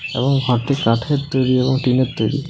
এবং ঘরটি কাঠের তৈরি এবং টিনের তৈরি ।